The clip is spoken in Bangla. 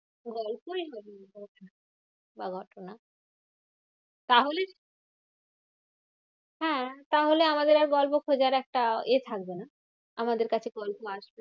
গল্পই বা ঘটনা তাহলে হ্যাঁ তাহলে আমাদের আর গল্প খোঁজার একটা এ থাকবে না। আমাদের কাছে গল্প আছে।